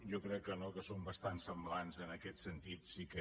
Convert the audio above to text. jo crec que no que són bastant semblants en aquest sentit sí que